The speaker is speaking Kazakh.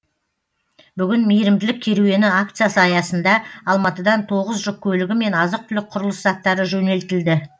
бүгін мейірімділік керуені акциясы аясында алматыдан тоғыз жүк көлігі мен азық түлік құрылыс заттары жөнелтілді